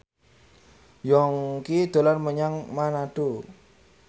Yongki dolan menyang Manado